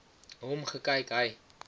hom gekyk hy